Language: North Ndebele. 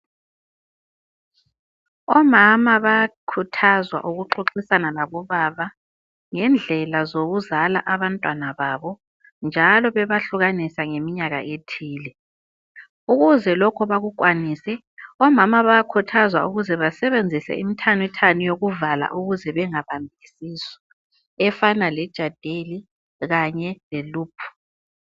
Omama bayakhuthazwa ukuxoxisana labobaba ngendlela zokuzala abantwana babo njalo bebahlukanisa ngemnyaka ethile ,ukuze lokho bakukwanise omama bayakhuthazwa ukusebenzisa imithanithani yokuvala ukuze bangabambi isisu efana k le jadel kanye leloop.